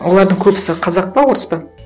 олардың көбісі қазақ па орыс па